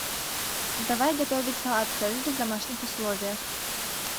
давай готовить салат цезарь в домашних условиях